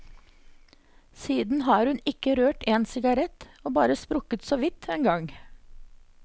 Siden har hun ikke rørt en sigarett, og bare sprukket såvidt en gang.